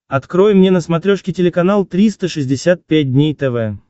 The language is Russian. открой мне на смотрешке телеканал триста шестьдесят пять дней тв